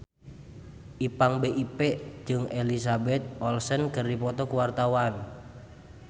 Ipank BIP jeung Elizabeth Olsen keur dipoto ku wartawan